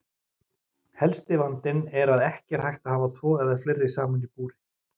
Helsti vandinn er að ekki er hægt að hafa tvo eða fleiri saman í búri.